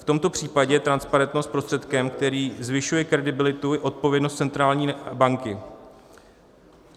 V tomto případě je transparentnost prostředkem, který zvyšuje kredibilitu i odpovědnost centrální banky.